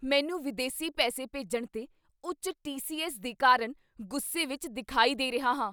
ਮੈਨੂੰ ਵਿਦੇਸੀ ਪੈਸੇ ਭੇਜਣ 'ਤੇ ਉੱਚ ਟੀ.ਸੀ.ਐੱਸ. ਦੇ ਕਾਰਨ ਗੁੱਸੇ ਵਿਚ ਦਿਖਾਈ ਦੇ ਰਿਹਾ ਹਾਂ।